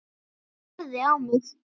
Hann starði á mig.